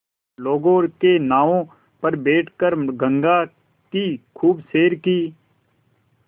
लोगों के नावों पर बैठ कर गंगा की खूब सैर की